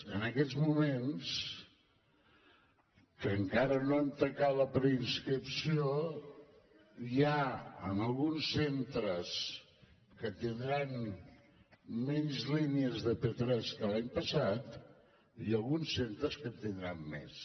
en aquests moments que encara no hem tancat la preinscripció hi han alguns centres que tindran menys línies de p3 que l’any passat i alguns centres que en tindran més